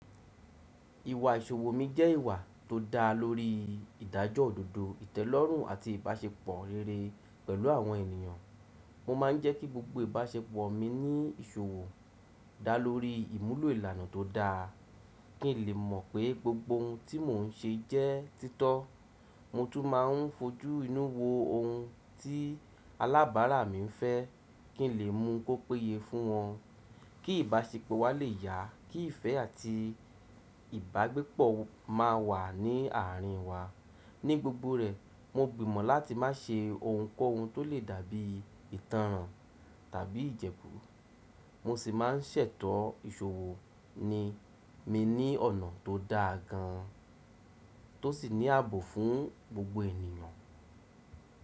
Ìwà ìṣòwò mi jẹ́ ìwà tó dá lórí ìdájọ́ òdodo, ìtẹ́lọ́rùn àti ìbáṣepọ̀ rere pẹ̀lú àwọn ènìyàn. Mo máa ń jẹ́ kí gbogbo ìbáṣepọ̀ mi ní ìṣòwò dá lórí ìmúlò ìlànà tó dáa, kí n lè mọ̀ pé gbogbo ohun tí mò ń ṣe jẹ́ títọ́. Mo tún máa ń fojú inú wo ohun tí alábàárà mi ń fẹ́ kí n lè mú un kó péye fún wọn, kí ìbáṣepọ̀ wa lè yá, kí ìfẹ́ àti ìbágbépọ̀ máa wà ní àárín wa. Ní gbogbo rẹ̀, mo gbìmọ̀ láti má ṣe ohunkóhun tó lè dàbí ìtànràn tàbí ìjẹgù. Mo sì má a ń ṣètọ́ ìṣòwò ni mi ní ọ̀nà tó dáa gan, tó sì ní ààbò fún gbogbo ènìyàn.